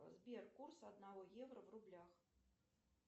сбер курс одного евро в рублях